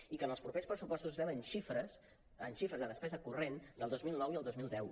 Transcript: i que en els propers pressupostos estem en xifres de despesa corrent del dos mil nou i el dos mil deu